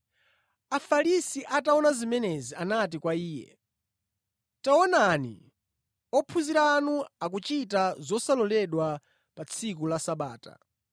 Afarisi ataona zimenezi anati kwa Iye, “Taonani! Ophunzira anu akuchita zosaloledwa pa tsiku la Sabata.”